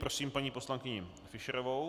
Prosím paní poslankyni Fischerovou.